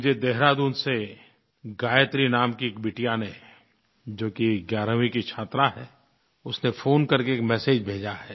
मुझे देहरादून से गायत्री नाम की एक बिटिया ने जो कि 11वीं की छात्रा है उसने फ़ोन करके एक मेसेज भेजा है